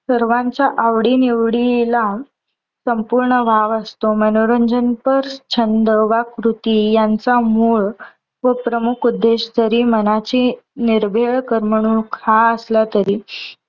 सर्वांच्या आवडी निवडीला संपूर्ण वाव असतो. मनोरंजनपर छंद वा कृती यांचा मूळ व प्रमुख उद्देश जरी मनाची निर्भेळ करमणूक हा असला तरी